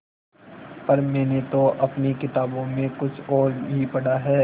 पर मैंने तो अपनी किताबों में कुछ और ही पढ़ा है